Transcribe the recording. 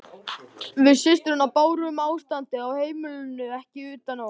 Við systurnar bárum ástandið á heimilinu ekki utan á okkur.